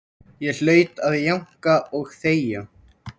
Ég hlaut að jánka og þegja.